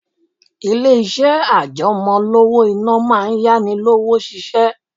Ilé-iṣẹ́ àjẹmọ́ owó-ìná máa ń yá ni lówó ṣiṣẹ́